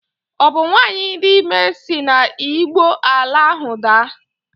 Ọ bụ nwanyị dị ime si na Igbo ala ahụ daa?